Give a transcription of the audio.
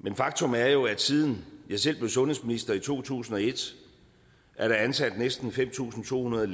men faktum er jo at siden jeg selv blev sundhedsminister i to tusind og et er der ansat næsten fem tusind to hundrede